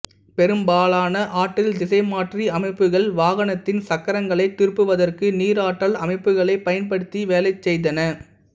பெரும்பாலான ஆற்றல் திசைமாற்றி அமைப்புக்கள் வாகனத்தின் சக்கரங்களைத் திருப்புவதற்கு நீராற்றல் அமைப்புக்களைப் பயன்படுத்தி வேலைசெய்தன